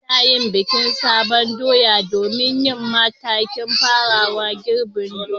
Ana yin bikin sabon doya domin yin makin farawan girbin doya.